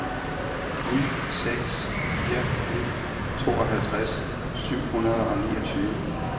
ni seks fire ni tooghalvtreds syv hundrede og niogtyve